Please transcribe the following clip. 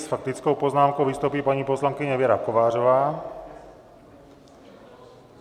S faktickou poznámkou vystoupí paní poslankyně Věra Kovářová.